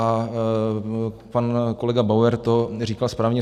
A pan kolega Bauer to říkal správně.